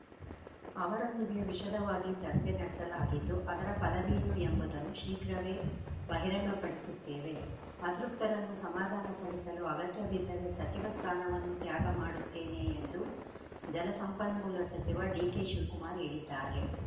ಅವರೊಂದಿಗೆ ವಿಷದವಾಗಿ ಚರ್ಚೆ ನಡೆಸಲಾಗಿದ್ದು ಅದರ ಫಲವೇನು ಎಂಬುದನ್ನು ಶೀಘ್ರವೇ ಬಹಿರಂಗಪಡಿಸುತ್ತೇವೆ ಅತೃಪ್ತರನ್ನು ಸಮಾಧಾನಪಡಿಸಲು ಅಗತ್ಯಬಿದ್ದರೆ ಸಚಿವ ಸ್ಥಾನವನ್ನೂ ತ್ಯಾಗ ಮಾಡುತ್ತೇನೆ ಎಂದು ಜಲಸಂಪನ್ಮೂಲ ಸಚಿವ ಡಿಕೆಶಿವಕುಮಾರ್‌ ಹೇಳಿದ್ದಾರೆ